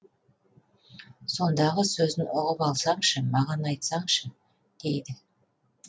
сондағы сөзін ұғып алсаңшы маған айтсаңшы дейді